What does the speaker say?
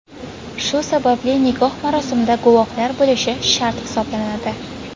Shu sababli nikoh marosimida guvohlar bo‘lishi shart hisoblanadi.